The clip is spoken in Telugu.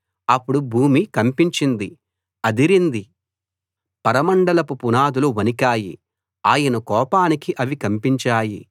అప్పుడు భూమి కంపించింది అదిరింది పరమండలపు పునాదులు వణికాయి ఆయన కోపానికి అవి కంపించాయి